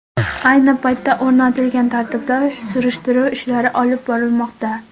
Ayni paytda o‘rnatilgan tartibda surishtiruv ishlari olib borilmoqda.